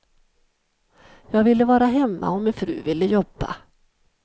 Jag ville vara hemma och min fru ville jobba.